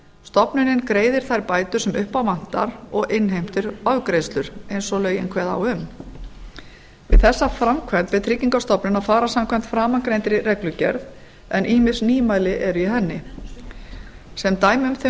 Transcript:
stofnunin greiðir þær bætur sem upp á vantar og innheimtir ofgreiðslur eins og lögin kveða á um við þessa framkvæmd er tryggingastofnun að fara samkvæmt framangreindri reglugerð en ýmis nýmæli eru í henni sem dæmi um þau